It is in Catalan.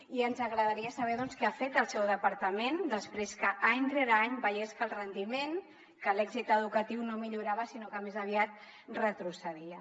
i ens agradaria saber què ha fet el seu departament després que any rere any veiés que el rendiment que l’èxit educatiu no millorava sinó que més aviat retrocedia